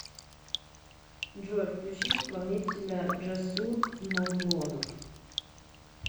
джой включи исполнителя джасур мавлонов